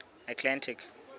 atlantic